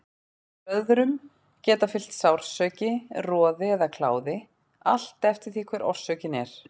Blöðrum geta fylgt sársauki, roði eða kláði, allt eftir því hver orsökin er.